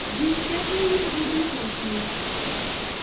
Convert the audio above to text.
ji keto yiegi duto piny.